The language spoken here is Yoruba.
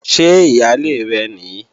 Ṣé ìyálé rẹ̀ nìí?